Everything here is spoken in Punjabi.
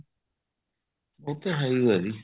ਉੱਥੇ ਹੈ ਓ ਆ ਜੀ